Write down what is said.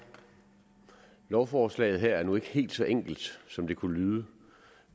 lovforslaget her er nu ikke helt så enkelt som det kunne lyde